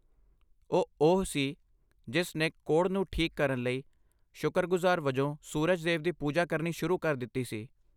ਉਹ ਉਹ ਸੀ ਜਿਸ ਨੇ ਕੋੜ੍ਹ ਨੂੰ ਠੀਕ ਕਰਨ ਲਈ ਸ਼ੁਕਰਗੁਜ਼ਾਰ ਵਜੋਂ ਸੂਰਜ ਦੇਵ ਦੀ ਪੂਜਾ ਕਰਨੀ ਸ਼ੁਰੂ ਕਰ ਦਿੱਤੀ ਸੀ।